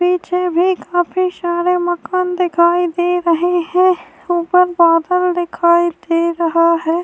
پیچھے بھی کافی سارے مکان دکھائی دے رہے ہے۔ اوپر بادل دکھائی دے رہا ہے-